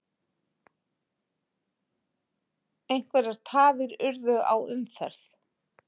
Einhverjar tafir urðu á umferð